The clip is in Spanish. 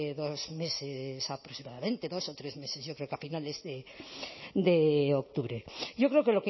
dos meses aproximadamente dos o tres meses yo creo que a finales de octubre yo creo que